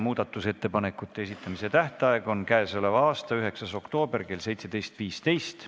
Muudatusettepanekute esitamise tähtaeg on k.a 9. oktoober kell 17.15.